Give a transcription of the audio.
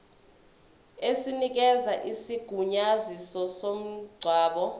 esinikeza isigunyaziso somngcwabo